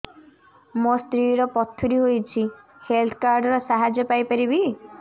ମୋ ସ୍ତ୍ରୀ ର ପଥୁରୀ ହେଇଚି ହେଲ୍ଥ କାର୍ଡ ର ସାହାଯ୍ୟ ପାଇପାରିବି